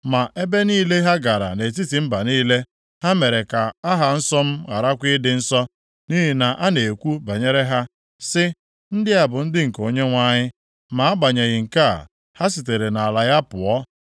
Ma ebe niile ha gara nʼetiti mba niile, ha mere ka aha nsọ m gharakwa ịdị nsọ, nʼihi na a na-ekwu banyere ha, sị, ‘Ndị a bụ ndị nke Onyenwe anyị, ma agbanyeghị nke a, ha sitere nʼala ya pụọ.’